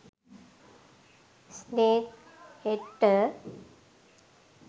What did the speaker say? snake හෙඩ්ට